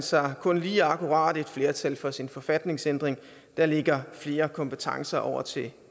sig kun lige akkurat et flertal for sin forfatningsændring der lægger flere kompetencer over til